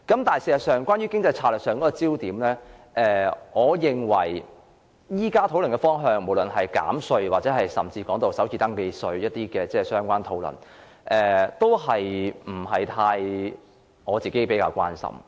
但事實上，關於經濟策略上的焦點，我認為現時討論的方向，不論是減稅或首次登記稅的相關討論，我個人不會太關心。